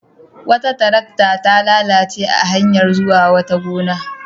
Wata tarakta ta lalace a hanyar zuwa wata gona.